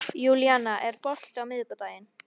Fólki, hvernig kemst ég þangað?